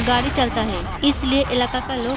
गाड़ी चलता है इसलिए इलाका का लॉक --